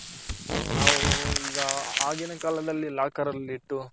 ನಾವು ಈಗ ಆಗಿನ ಕಾಲದಲ್ಲಿ locker ಅಲ್ಲಿ ಇಟ್ಟು